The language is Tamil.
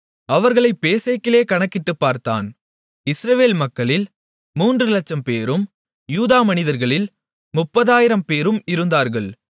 அவர்களைப் பேசேக்கிலே கணக்கிட்டுப் பார்த்தான் இஸ்ரவேல் மக்களில் மூன்று லட்சம்பேரும் யூதா மனிதர்களில் முப்பதாயிரம்பேரும் இருந்தார்கள்